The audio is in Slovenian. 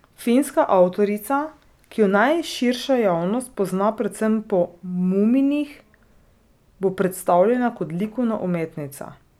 Finska avtorica, ki jo najširša javnost pozna predvsem po muminih, bo predstavljena kot likovna umetnica.